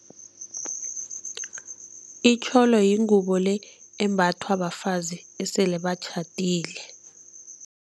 Itjholo yingubo le embathwa bafazi esele batjhadile.